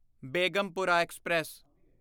Begampura express